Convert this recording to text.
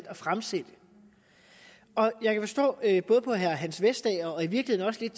at fremsætte og jeg kan forstå på herre hans vestager og i virkeligheden